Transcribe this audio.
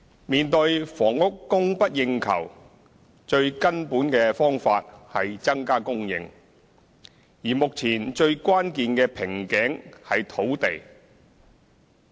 面對房屋供不應求，最根本的方法是增加供應，而目前最關鍵的瓶頸是土地。